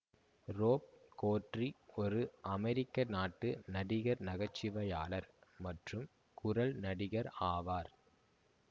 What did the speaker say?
rope Corddry ஒரு அமெரிக்க நாட்டு நடிகர் நகைச்சுவையாளர் மற்றும் குரல் நடிகர் ஆவார்